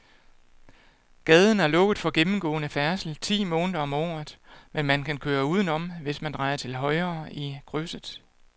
Gaden er lukket for gennemgående færdsel ti måneder om året, men man kan køre udenom, hvis man drejer til højre i krydset.